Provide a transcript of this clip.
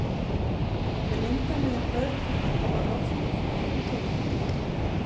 Til að mynda mega börn hvorki kaupa áfengi né tóbak.